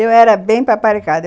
Eu era bem paparicada.